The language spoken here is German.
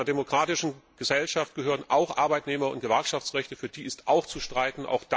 Zu einer demokratischen Gesellschaft gehören also auch Arbeitnehmer und Gewerkschaftsrechte, für die ist auch zu streiten.